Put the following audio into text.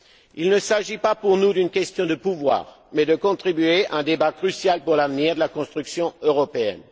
Il ne s'agit pas pour nous d'une question de pouvoir, mais de contribuer à un débat crucial pour l'avenir de la construction européenne.